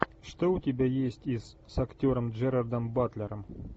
что у тебя есть из с актером джерардом батлером